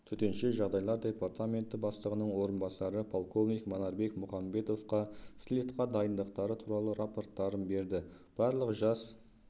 төтенше жағдайлар департаменті бастығының орынбасары полковник манарбек мұханбетовқа слетқа дайындықтары туралы рапорттарын берді барлық жас